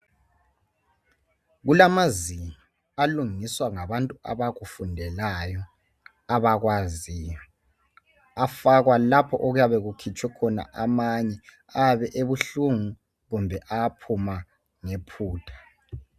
Kulamazinyo alungiswa ngabantu abakufundelayo abakwaziyo afakwa lapho okuyabe kukhitshwe khona amanye ayabe ebuhlungu kumbe aphuma ngephutha.